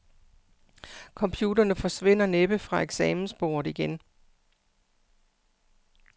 Computerne forsvinder næppe fra eksamensbordet igen.